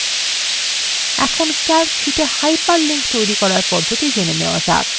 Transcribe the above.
এখন calc শীটে hyperlinks তৈরি করার পদ্ধতি জানা যাক